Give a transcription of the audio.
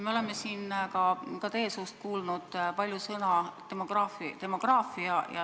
Me oleme siin ka teie suust kuulnud palju sõna "demograafia".